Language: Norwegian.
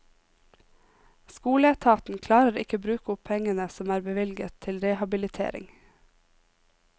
Skoleetaten klarer ikke bruke opp pengene som er bevilget til rehabilitering.